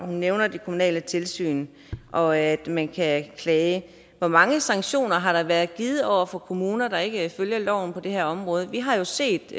nævner det kommunale tilsyn og at man kan klage hvor mange sanktioner har der været givet over for kommuner der ikke følger loven på det her område vi har jo set